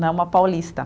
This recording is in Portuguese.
Não uma paulista.